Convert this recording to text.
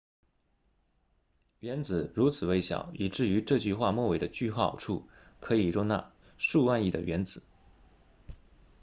原子如此微小以至于这句话末尾的句号处可以容纳数万亿的原子